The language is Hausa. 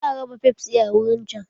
Za a raba fefsi a wurin can.